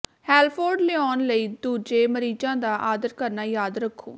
ਹੈਲਫ਼ੋਰਡ ਲਿਆਉਣ ਲਈ ਦੂਜੇ ਮਰੀਜ਼ਾਂ ਦਾ ਆਦਰ ਕਰਨਾ ਯਾਦ ਰੱਖੋ